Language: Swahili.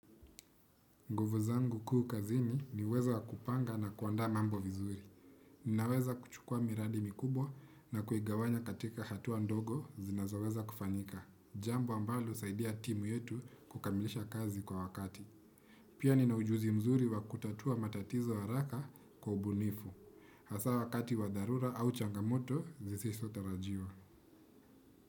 Nguvu zangu kuu kazini, ni uwezo wa kupanga na kuandaa mambo vizuri. Ninaweza kuchukua miradi mikubwa na kuigawanya katika hatua ndogo, zinazoweza kufanyika. Jambo ambalo usaidia timu yetu, kukamilisha kazi kwa wakati. Pia nina ujuzi mzuri wa kutatua matatizo haraka, kwa ubunifu. Hasa wakati wa dharura au changamoto, zisiso tarajiwa.